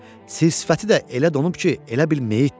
Sir-sifəti də elə donub ki, elə bil meyitdir.